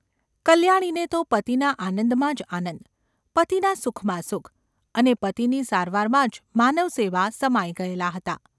કલ્યાણીને તો પતિના આનંદમાં જ આનંદ, પતિના સુખમાં સુખ, અને પતિની સારવારમાં જ માનવસેવા સમાઈ ગયેલાં હતાં.